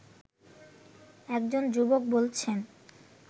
একজন যুবক বলছেন